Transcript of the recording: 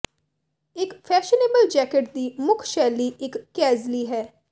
ਇੱਕ fashionable jacket ਦੀ ਮੁੱਖ ਸ਼ੈਲੀ ਇੱਕ ਕੈਜ਼ਲੀ ਹੈ